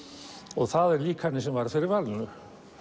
og það er líkanið sem varð fyrir valinu